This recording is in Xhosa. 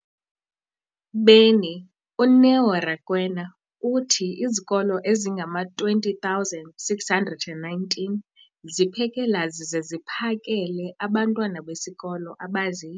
beni, uNeo Rakwena, uthi izikolo ezingama-20 619 ziphekela zize ziphakele abantwana besikolo abazi-